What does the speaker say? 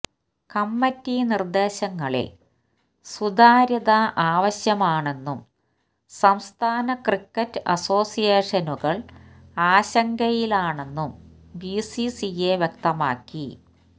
committee നിര്ദ്ദേശങ്ങളില് സുതാര്യത ആവശ്യമാണെന്നും സംസ്ഥാന ക്രിക്കറ്റ് അസോസിയേഷനുകള് ആശങ്കയിലാണെന്നും ബിസിസിഐ വ്യക്തമാക്കി